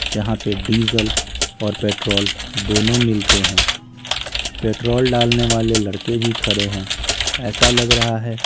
जहां पे डीज़ल और पेट्रोल दोनों मिलते हैं पेट्रोल डालने वाले लड़के भी खड़े हैं ऐसा लग रहा है --